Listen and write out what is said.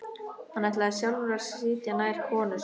Hann ætlaði sjálfur að sitja nær konu sinni.